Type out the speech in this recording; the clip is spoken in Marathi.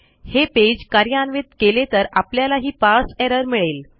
हे पेज कार्यान्वित केले तर आपल्याला ही पारसे एरर मिळेल